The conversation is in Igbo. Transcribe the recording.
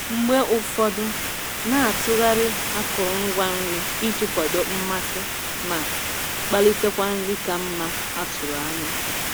Mgbe ụfọdụ, na-atụgharị akụrụngwa nri iji kwado mmasị ma kpalitekwa nri ka mma a tụrụ anya.